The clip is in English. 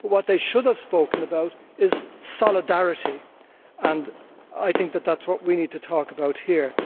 What they should have spoken about is solidarity, and I think that is what we need to talk about here.